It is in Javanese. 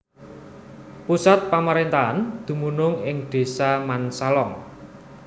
Pusat pamaréntahan dumunung ing Désa Mansalong